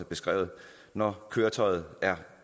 beskrevet når køretøjet er